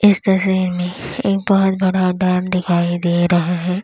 इस तस्वीर में एक बहुत बड़ा डैम दिखाई दे रहा है।